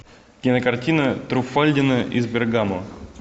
кинокартина труффальдино из бергамо